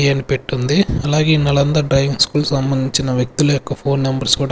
అని పెట్టుంది అలాగే ఈ నలంద డ్రైవింగ్ స్కూల్ సంబంధించిన వ్యక్తుల యొక్క ఫోన్ నెంబర్స్ కూడా--